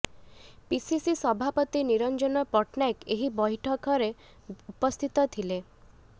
PCC ସଭାପତି ନିରଞ୍ଜନ ପଟ୍ଟନାୟକ ଏହି ବୈଠକରେ ଉପସ୍ଥିତ ଥିଲେ